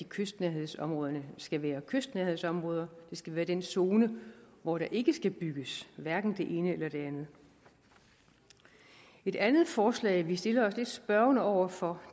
kystnærhedsområderne skal være kystnærhedsområder det skal være den zone hvor der ikke skal bygges hverken det ene eller det andet et andet forslag vi stiller os lidt spørgende over for